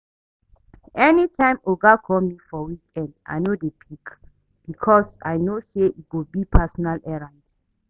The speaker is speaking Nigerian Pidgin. Anytime oga call me for weekend I no dey pick because i know say e go be personal errand